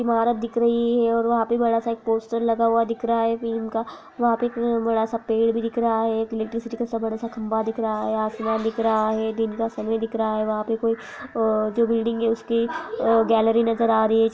इमारत दिख रही है और वहाँ पे बड़ा सा एक पोस्टर लगा हुआ दिख रहा है फिल्म का वहाँ पे एक बड़ा सा पेड़ भी दिख रहा है एक इलेक्ट्रिसिटी का सा बड़ा सा खम्बा दिख रहा है आसमान दिख रहा है दिन का समय दिख रहा है वहाँ पे कोई अ जो बिल्डिंग है उसकी अ गैलरी नजर आ रही है।